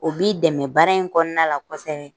O b'i dɛmɛ baara in kɔnɔna la kosɛbɛ.